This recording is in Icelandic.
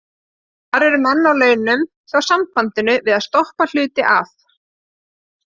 Það eru menn á launum hjá sambandinu við að stoppa hluti af.